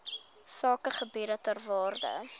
sakegebiede ter waarde